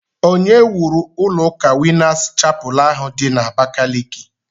Onye wuru ụlọ ụka winners chapel ahụ di na Abakaliki?